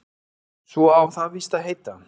Svo á það víst að heita